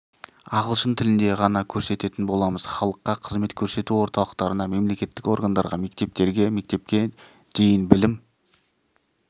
ағылшын тілінде ғана көрсететін боламыз халыққа қызмет көрсету орталықтарына мемлекеттік органдарға мектептерге мектепке дейін білім